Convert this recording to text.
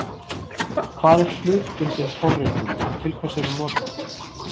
Hvað er hlutbundin forritun og til hvers er hún notuð?